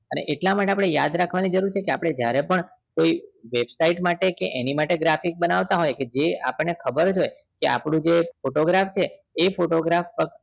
અને એટલા માટે આપણે યાદ રાખવાની જરૂર છે કે આપણે જયારે પણ કોઈ website માટે કે એની કોઈ માટે graphics આપણને ખબર જ હોય કે આપણું જે photograph છે એ photograph